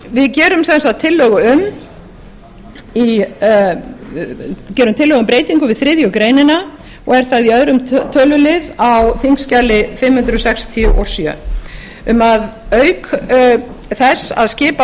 við gerum sem sagt tillögu um breytingu við þriðju greinar og er það í öðrum tölulið á þingskjali fimm hundruð sextíu og sjö um að auk þess að skipa